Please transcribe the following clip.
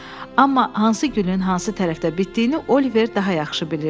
Amma hansı gülün hansı tərəfdə bitdiyini Oliver daha yaxşı bilirdi.